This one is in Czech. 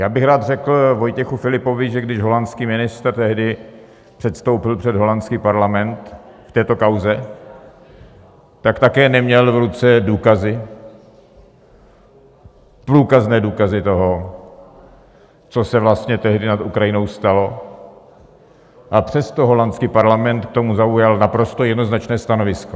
Já bych rád řekl Vojtěchu Filipovi, že když holandský ministr tehdy předstoupil před holandský parlament v této kauze, tak také neměl v ruce důkazy, průkazné důkazy toho, co se vlastně tehdy nad Ukrajinou stalo, a přesto holandský parlament k tomu zaujal naprosto jednoznačné stanovisko.